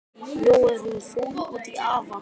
Nú er hún fúl út í afa.